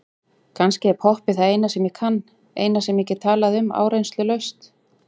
Kannski er poppið það eina sem ég kann, eina sem ég get talað um áreynslulaust.